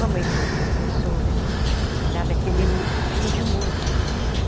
Mamãe foi professora lá daquele fim de mundo.